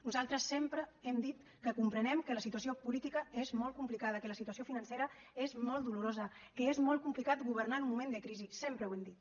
nosaltres sempre hem dit que comprenem que la situació política és molt complicada que la situació financera és molt dolorosa que és molt complicat governar en un moment de crisi sempre ho hem dit